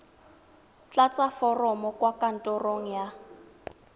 tlatsa foromo kwa kantorong ya